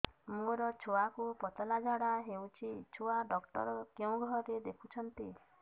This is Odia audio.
ମୋର ଛୁଆକୁ ପତଳା ଝାଡ଼ା ହେଉଛି ଛୁଆ ଡକ୍ଟର କେଉଁ ଘରେ ଦେଖୁଛନ୍ତି